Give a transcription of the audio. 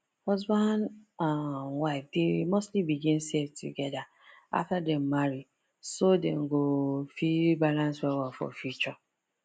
husband and wife dey mostly begin save together after dem marry so dem go fit balance well well for future